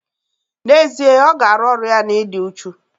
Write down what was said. N'ezie, ọ ga-arụ ọrụ ya na ịdị uchu